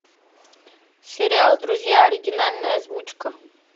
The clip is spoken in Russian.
сериал друзья оригинальная озвучка